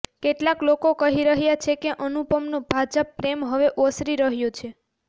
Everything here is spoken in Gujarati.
કેટલાક લોકો કહી રહ્યા છે કે અનુપમનો ભાજપ પ્રેમ હવે ઓસરી રહ્યો છે